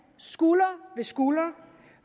skulder ved skulder